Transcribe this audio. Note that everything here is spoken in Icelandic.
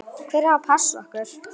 Hver á að passa okkur?